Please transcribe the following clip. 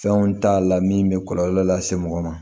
Fɛnw t'a la min bɛ kɔlɔlɔ lase mɔgɔ ma